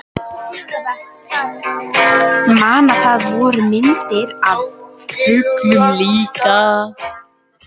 Man að það voru myndir af fuglum líka.